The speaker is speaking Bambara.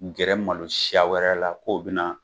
Gɛrɛ malo siya wɛrɛ la k'o bina